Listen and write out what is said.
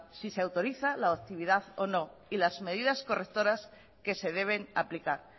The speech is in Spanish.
si se autoriza la actividad o no y las medidas correctoras que se deben aplicar